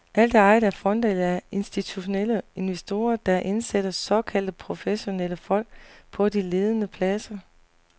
Alt er ejet af fonde eller af institutionelle investorer, der indsætter såkaldte professionelle folk på de ledende pladser.